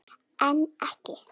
En ekki.